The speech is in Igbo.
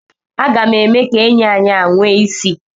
Aga m eme ka enyi anyị a nwee isi.